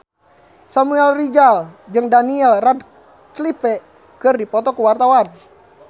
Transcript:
Samuel Rizal jeung Daniel Radcliffe keur dipoto ku wartawan